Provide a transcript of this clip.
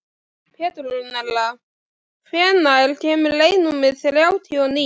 Petrúnella, hvenær kemur leið númer þrjátíu og níu?